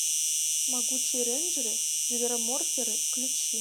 могучие рейнджеры звероморферы включи